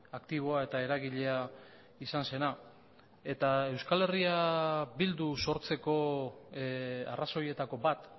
aktiboa eta eragilea izan zena eta euskal herria bildu sortzeko arrazoietako bat